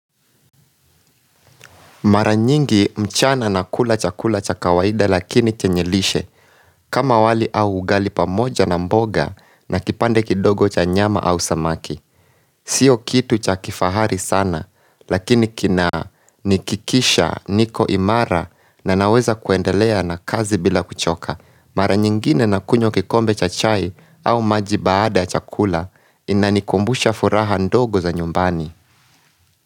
Mara nyingi mchana nakula chakula cha kawaida lakini kenye lishe kama wali au ugali pamoja na mboga na kipande kidogo cha nyama au samaki. Sio kitu cha kifahari sana lakini kinanikikisha niko imara na naweza kuendelea na kazi bila kuchoka. Mara nyingine nakunywa kikombe cha chai au maji baada ya chakula inanikumbusha furaha ndogo za nyumbani.